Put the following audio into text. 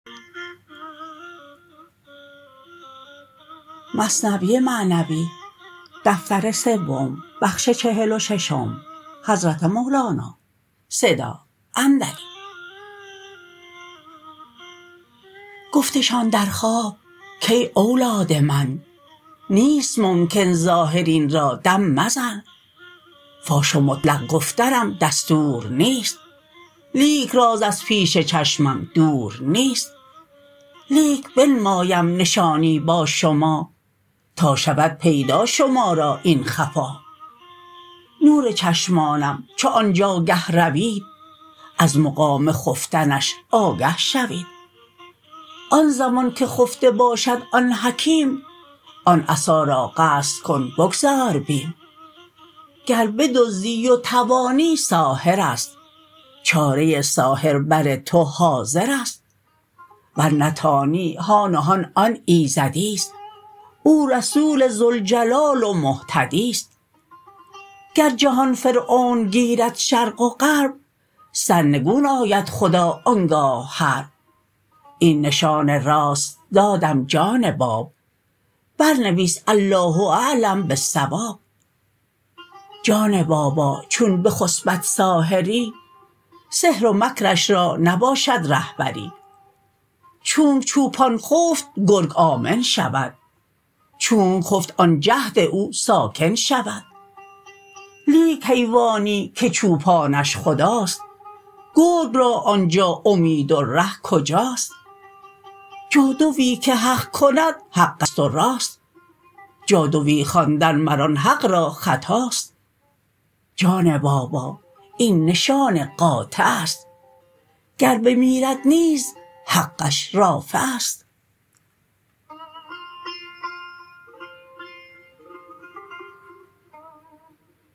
گفتشان در خواب کای اولاد من نیست ممکن ظاهر این را دم زدن فاش و مطلق گفتنم دستور نیست لیک راز از پیش چشمم دور نیست لیک بنمایم نشانی با شما تا شود پیدا شما را این خفا نور چشمانم چو آنجا گه روید از مقام خفتنش آگه شوید آن زمان که خفته باشد آن حکیم آن عصا را قصد کن بگذار بیم گر بدزدی و توانی ساحرست چاره ساحر بر تو حاضرست ور نتانی هان و هان آن ایزدیست او رسول ذوالجلال و مهتدیست گر جهان فرعون گیرد شرق و غرب سرنگون آید خدا آنگاه حرب این نشان راست دادم جان باب بر نویس الله اعلم بالصواب جان بابا چون بخسپد ساحری سحر و مکرش را نباشد رهبری چونک چوپان خفت گرگ آمن شود چونک خفت آن جهد او ساکن شود لیک حیوانی که چوپانش خداست گرگ را آنجا امید و ره کجاست جادوی که حق کند حقست و راست جادوی خواندن مر آن حق را خطاست جان بابا این نشان قاطعست گر بمیرد نیز حقش رافعست